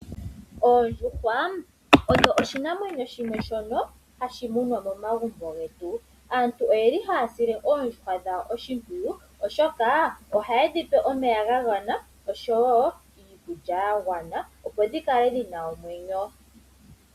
Oondjuhwa odho oshinamwenyo shono hashi munwa momagumbo getu. Aantu oyeli haya sile oondjuhwa dhawo oshimpwiyu oshoka ohayedhi pe omeya gagwana oshowoo iikulya yagwana, opo dhikale dhina omwenyo.